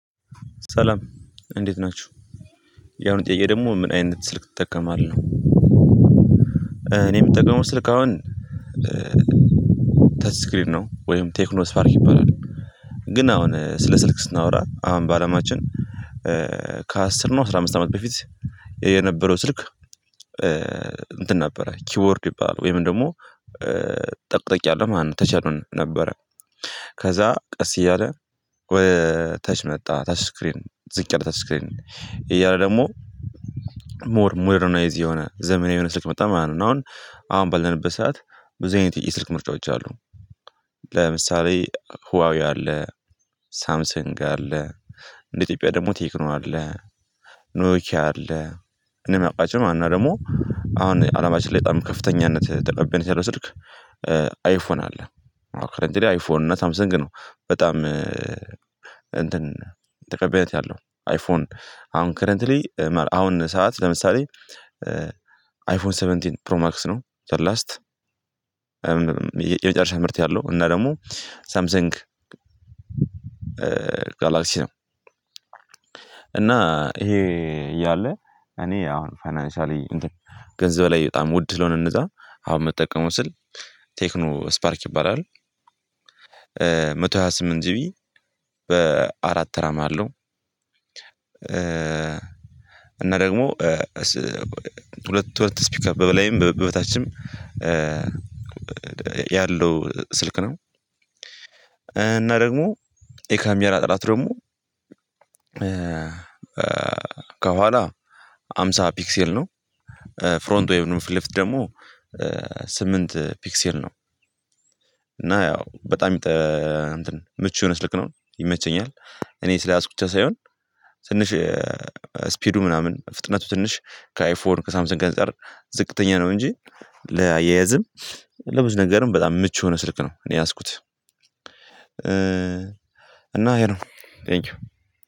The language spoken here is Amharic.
ሰላም እንዴት ናችሁ ያሁኑ ጥዬ ደግሞ ምን አይነት ስልክ ትጠቀማለህ እኔ የምጠቀመው ስልክ አሁን ተች ስክሪን ነው ወይም ቴክኖ ስፓርክ ይባላል ግን አሁን ስለ ስልክ ስናወራ አሁን በአለማችን ከአስር ነው ከ አስራ አምስት አመት በፊት የነበረው ስልክ እንትን ነበረ ኪቦርድ ይባላል ወይም ደግሞ ጠቅ ጠቅ ያለ ማለት ነው ተች ያልነበረ ከዛ ቀስ እያለ ወደ ታች መጣ። ታች ስክሪን ዝቅ ያለ ታች ስክሪን እያለ ደግሞ ሞር ሞደርናይዝ የሆነ ዘመናዊ የሆነ ስልክ መጣ ማለት ነው። አሁን አሁን ባለንበት ሰዓት ብዙ አይነት የስልክ ምርጫዎች አሉ። ለምሳሌ ሁዋዌ አለ፣ ሳምሰንግ አለ፣ እንደ ኢትዮጵያ ደግሞ ቴክኖ አለ፣ ኖኪያ አለ፣ እኔ የማውቃችሁ ዋና ደግሞ አሁን አለማችን ላይ በጣም ከፍተኛነት ተቀባይነት ያለው ስልክ አይፎን አለ አሁን ካረንቲሊ አይፎን እና ሳምሰንግ ነው። በጣም እንትን ተቀባይነት ያለው አይፎን አሁን ከረንትሊ አሁን ሰዓት ለምሳሌ አይፎን ሰቨንቲን ፕሮማክስ ነው ዘላስት። የመጨረሻ ምርት ያለው እና ደግሞ ሳምሰንግ ጋላክሲያ እና ይሄ እያለ እኔ አሁን ፋይናንሻሊ እንትን ገንዘብ ላይ በጣም ውድ ስለሆነ እነዛ አሁን የምጠቀመው ስል ቴክኖ ስፓርክ ይባላል። መቶ ሃያ ስምንት ጂቢ በአራት ራም አለው። እና ደግሞ ሁለት ሁለት ስፒክ በበላይም በበታችም ያለው ስልክ ነው። እና ደግሞ የካሜራ ጥራት ደግሞ ከኋላ አምሳ ፒክሴል ነው። ፍሮንት ወይንም ፊት ለፊት ደግሞ ስምንት ፒክሴል ነው። እና ያው በጣም ምቹ የሆነ ስልክ ነው፣ ይመቸኛል። እኔ ስለያዝኩት ብቻ ሳይሆን ትንሽ ስፒዱ ምናምን ፍጥነቱ ትንሽ ከአይፎን፣ ከሳምሰን አንፃር ዝቅተኛ ነው እንጂ ለአያያዝም ለብዙ ነገርም በጣም ምቹ የሆነ ስልክ ነው እኔ ያዝኩት እና ይሄ ነው። ቴንኪው።